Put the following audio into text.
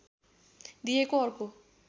दिएको अर्को